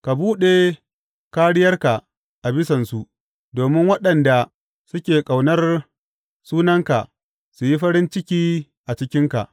Ka buɗe kāriyarka a bisansu, domin waɗanda suke ƙaunar sunanka su yi farin ciki a cikinka.